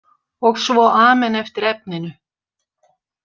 Og svo amen eftir efninu!